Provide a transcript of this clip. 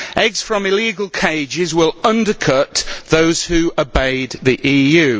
Eggs from illegal cages will undercut those who obeyed the EU.